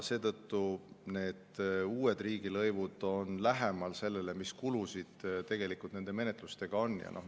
Seetõttu need uued riigilõivud on lähemal sellele, mis need menetluskulud on.